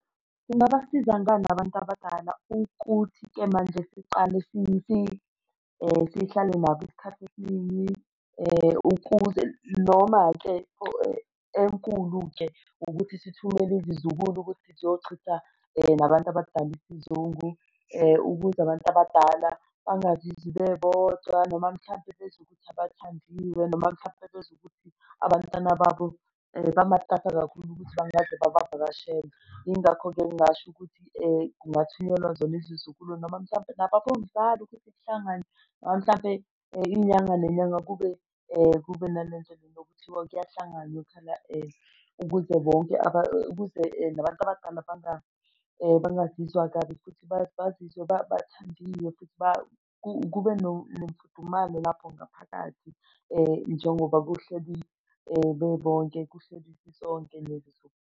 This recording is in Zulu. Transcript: Lungabasiza ngani nabantu abadala ukuthi-ke manje siqale sihlale nabo isikhathi esiningi ukuze noma-ke enkulu-ke ukuthi sithumele izizukulu ukuthi ziyochitha nabantu abadala isizungu ukuze abantu abadala bangazizwi bebodwa noma mhlampe bezwe ukuthi abathandiweyo noma mhlampe bezwe ukuthi abantwana babo bamatasa kakhulu ukuthi bangaze babavakashela. Yingakho-ke ngingasho ukuthi kungathunyelwa zona izizukulu noma mhlampe nababomdlalo ukuthi kuhlanganwe noma mhlampe inyanga nenyanga kube kube nalento lena okuthiwa kuyahlanganwa khona ukuze bonke ukuze nabantu abadala bangazizwa kabi futhi bazizwe bathandiwe futhi kube nomfudumalo lapho ngaphakathi njengoba kuhleli bebonke kuhleli sisonke nezizukulu.